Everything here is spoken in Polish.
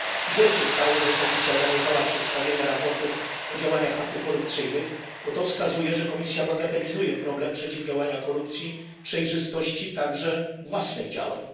Źle się stało, że Komisja zaniechała przedstawiania raportów o działaniach antykorupcyjnych, bo to wskazuje, że Komisja bagatelizuje problem przeciwdziałania korupcji oraz kwestię przejrzystości własnych działań.